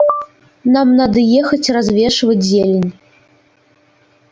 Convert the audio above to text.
нам надо ехать развешивать зелень